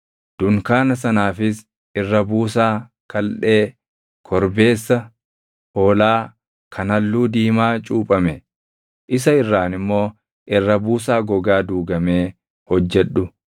Dunkaana sanaafis irra buusaa kaldhee korbeessa hoolaa kan halluu diimaa cuuphame, isa irraan immoo irra buusaa gogaa duugamee hojjedhu.